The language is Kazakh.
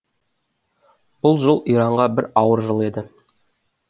бұл жыл иранға бір ауыр жыл еді